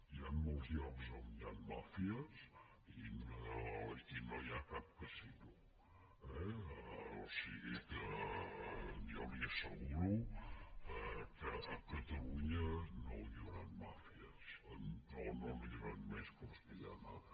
hi ha molts llocs on hi han màfies i no hi ha cap casino eh o sigui que jo li asseguro que a catalunya no hi hauran màfies o no n’hi hauran més que les que hi ha ara